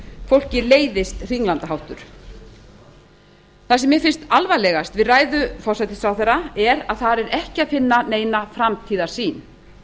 fólki leiðist hringlandaháttur það sem mér finnst alvarlegast við ræðu forsætisráðherra er að þar er ekki að finna neina framtíðarsýn